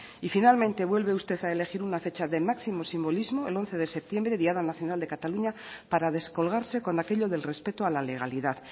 y finalmente vuelve usted a elegir una fecha de máximo simbolismo el once de septiembre diada nacional de cataluña para descolgarse con aquello del respeto a la legalidad